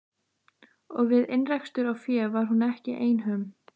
Og við innrekstur á fé var hún ekki einhöm.